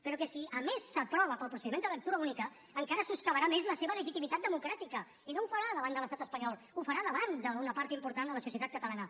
però que si a més s’aprova pel procediment de lectura única encara soscavarà més la seva legitimitat democràtica i no ho farà davant de l’estat espanyol ho farà davant d’una part important de la societat catalana